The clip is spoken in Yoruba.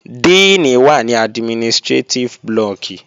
Díìnì wà ní administrétíf blọọ̀kì